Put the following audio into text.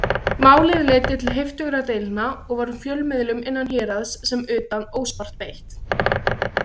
Málið leiddi til heiftúðugra deilna, og var fjölmiðlum innan héraðs sem utan óspart beitt.